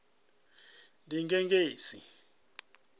ḽigegise